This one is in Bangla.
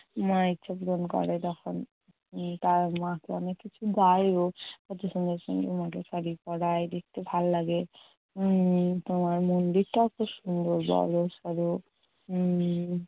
মা ইচ্ছে পূরণ করে তখন। উম তারা মাকে অনেক কিছু দেয়ও। কতো সুন্দর সুন্দর মাকে শাড়ি পরায়। দেখতে ভালো লাগে। উম তোমার মন্দির তাও খুব সুন্দর, বড়সড়। উম